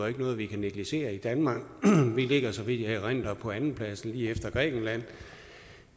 er noget vi kan negligere i danmark vi ligger så vidt jeg erindrer på andenpladsen lige efter grækenland